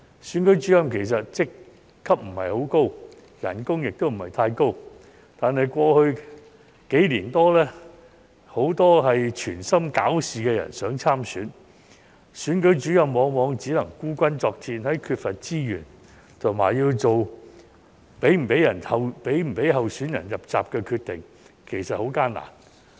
選舉主任職級不高，薪金亦不太高，但過去數年，很多存心搞事的人想參選，選舉主任往往只能孤軍作戰，在缺乏資源下，要作出是否讓候選人"入閘"的決定，其實很艱難。